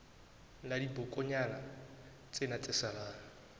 la dibokonyana tsena tse salang